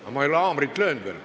Aga ma ei ole haamriga löönud veel.